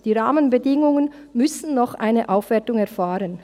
Die Rahmenbedingungen müssen noch eine Aufwertung erfahren.